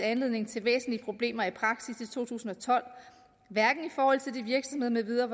anledning til væsentlige problemer i praksis i to tusind og tolv hverken i forhold til de virksomheder